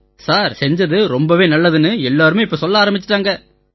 sir செஞ்சது ரொம்பவே நல்லதுன்னு எல்லாருமே இப்ப சொல்ல ஆரம்பிச்சிட்டாங்க